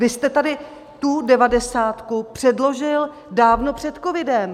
Vy jste tady tu devadesátku předložil dávno před covidem.